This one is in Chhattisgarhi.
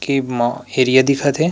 केब मा हेरिया दिख थे।